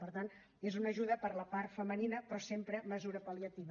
per tant és una ajuda per a la part femenina però sempre mesura pal·liativa